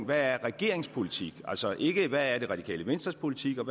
hvad er regeringens politik altså ikke hvad det radikale venstres politik er